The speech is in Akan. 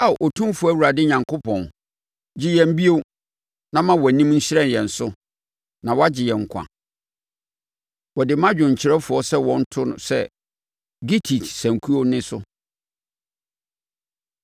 Ao Otumfoɔ Awurade Onyankopɔn, gye yɛn bio, na ma wʼanim nhyerɛn yɛn so, na wɔagye yɛn nkwa. Wɔde ma dwomkyerɛfoɔ sɛ wɔnto sɛ “gittit” sankuo nne so.